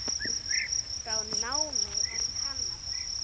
frá námi í Kanada.